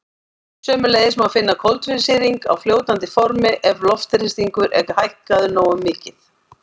Sömuleiðis má finna koltvísýring á fljótandi formi ef loftþrýstingur er hækkaður nógu mikið.